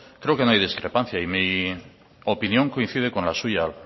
creo que no hay discrepancia y mi opinión coincide con la suya